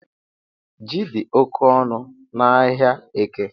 Ji di oke onu n’Ahịaeke